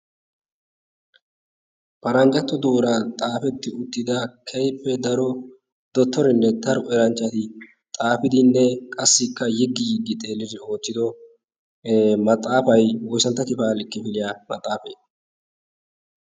paranjjatto duuran xaafetti uttida keippe daro dottorinne taru eranchchati xaafidinne qassikka yiggi yiggi xeeliri oottido maxaafai woisanttati baalik kifiliyaa maxaafee?